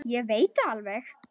Ég veit það alveg.